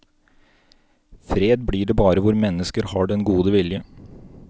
Fred blir det bare hvor mennesker har den gode vilje.